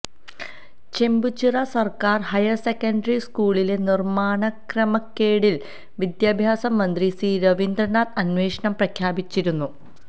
ചെമ്പൂച്ചിറ സര്ക്കാര് higher secondary സ്കൂളിലെ നിര്മ്മാണ ക്രമക്കേടില് വിദ്യാഭ്യാസ മന്ത്രി സി രവീന്ദ്രനാഥ് അന്വേഷണം പ്രഖ്യാപിച്ചിരുന്നു